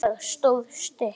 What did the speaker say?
Það stóð stutt.